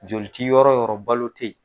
Joli tɛ yɔrɔ o yɔrɔ balo tɛ yen.